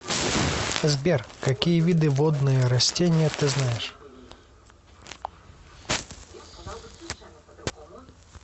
сбер какие виды водные растения ты знаешь